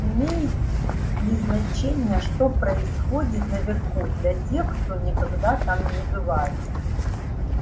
имеет ли значение что происходит наверху для тех кто никогда там не бывает